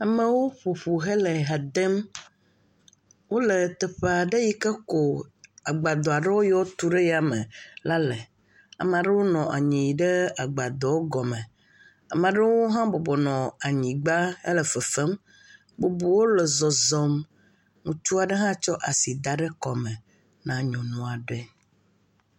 Amewo ƒo ƒu hele ha dem, wole teaa ɖe yike ko agbadɔa ɖeo yiɔ wotu ɖe yame la le, amaa ɖewo le agbadɔ gɔme, amaa ɖewo hã bɔbɔ nɔ anyigba hele fefem, bubuwo le zɔzɔm, ŋutsua aɖe hã kɔ asi da ɖe kɔme na nyɔnua ɖe.